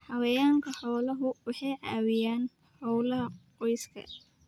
Xayawaanka xooluhu waxay caawiyaan hawlaha qoyska.